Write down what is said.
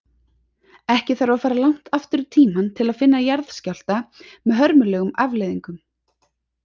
Ekki þarf að fara langt aftur í tímann til að finna jarðskjálfta með hörmulegum afleiðingum.